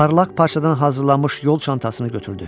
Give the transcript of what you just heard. Parlaq parçadan hazırlanmış yol çantasını götürdü.